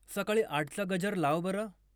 सकाळी आठचा गजर लाव बरं